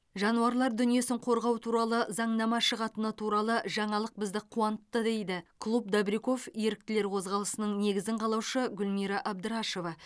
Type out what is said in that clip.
жануарлар дүниесін қорғау туралы заңнама шығатыны туралы жаңалық бізді қуантты дейді клуб добряков еріктілер қозғалысының негізін қалаушы гүлмира абдрашева